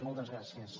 moltes gràcies